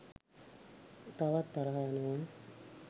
තවත් තරහ යනවා